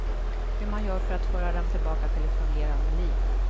Hur man gör för att föra dem tillbaka till ett fungerande liv.